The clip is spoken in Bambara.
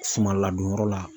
Sumaladon yɔrɔ la.